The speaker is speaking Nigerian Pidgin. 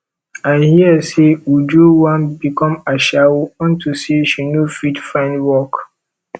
i hear say uju wan become ashawo unto say she no fit find work